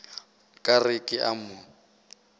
ka re ke a mo